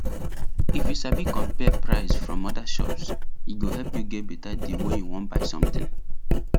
if you sabi compare price from other shops e go help you get better deal when you wan buy something